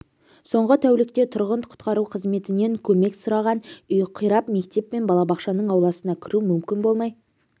соңғы тәулікте тұрғын құтқару қызметінен көмек сұраған үй қирап мектеп пен балабақшаның ауласына кіру мүмкін болмай